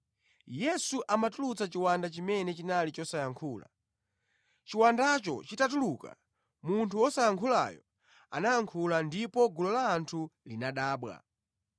Yesu amatulutsa chiwanda chimene chinali chosayankhula. Chiwandacho chitatuluka, munthu wosayankhulayo anayankhula, ndipo gulu la anthu linadabwa.